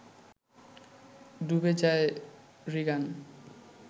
ডুবে যায় রিগান